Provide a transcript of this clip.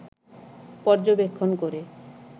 পর্যবেক্ষণ করে